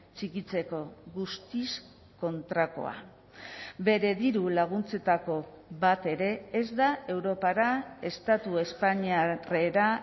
txikitzeko guztiz kontrakoa bere dirulaguntzetako bat ere ez da europara estatu espainiarrera